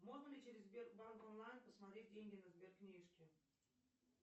можно ли через сбербанк онлайн посмотреть деньги на сберкнижке